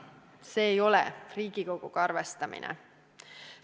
See ei ole Riigikoguga arvestamine.